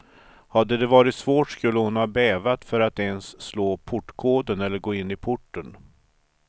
Hade det varit svårt skulle hon ha bävat för att ens slå portkoden eller gå in i porten.